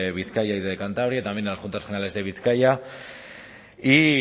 bizkaia y de cantabria y también en las juntas generales de bizkaia y